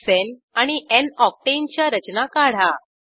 n hexane आणि n octane च्या रचना काढा